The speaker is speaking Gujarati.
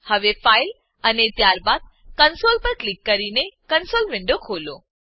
હવે ફાઇલ અને ત્યારબાદ કન્સોલ પર ક્લિક કરીને કંસોલ વિન્ડો ખોલો